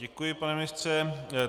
Děkuji, pane ministře.